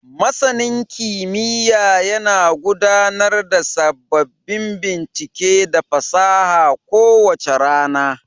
Masanin kimiyya yana gudanar da sababbin bincike da fasaha kowace rana.